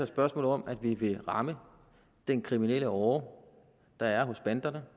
spørgsmål om at vi vil ramme den kriminelle åre der er hos banderne